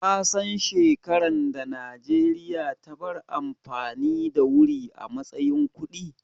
Kasan shekaran da Najeriya ta bar amfani da wuri a matsayin kuɗi?